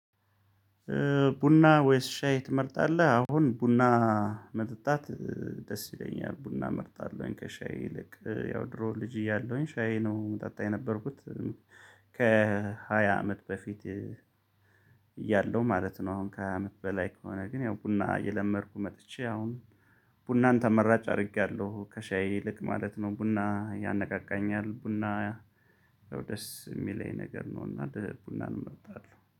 ቡና ወይስ ሻይ ትመርጣለህ? አሁን ቡና መጠጣት ደስ ይለኛል ቡና እመርጣለሁኝ ከሻይ ይልቅ ያው ድሮ ልጅ እያለሁኝ ሻይ ነው እምጠጣ የነበርኩት። ከ ሃያ አመት በፊት እያለው ማለት ነው። አሁን ከ ሃያ አመት በላይ ግን ያው ቡና እየለመድኩ መጥቼ አሁን ቡናን ተመራጭ አርጊያለሁ ከ ሻይ ይልቅ ማለት ነው። ቡና ያነቃቃኛል ቡና ያው ደስ እሚለኝ ነገር ነው። እና ቡናን እመርጣለሁ